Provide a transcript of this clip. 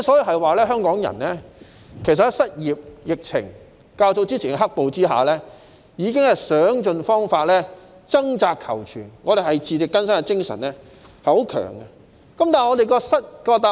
香港人在失業、疫情和較早前的"黑暴"之下，已經想盡辦法掙扎求存，自力更生的精神十分強。